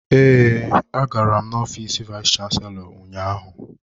Ee, agara m ofiisi vayis chansilọ ụnyaahụ.